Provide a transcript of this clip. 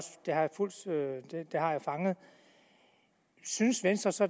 jeg har jeg fanget synes venstre så